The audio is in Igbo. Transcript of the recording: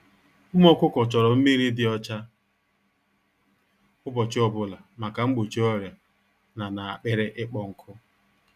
Ụmụ ọkụkọ chọrọ mmiri dị ọcha ụbọchị ọbụla maka mgbochi ọrịa na na akpịrị ịkpọ nkụ